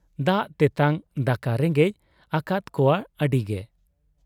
ᱫᱟᱜ ᱛᱮᱴᱟᱝ ᱫᱟᱠᱟ ᱨᱮᱸᱜᱮᱡ ᱟᱠᱟᱫ ᱠᱚᱣᱟ ᱟᱹᱰᱤᱜᱮ ᱾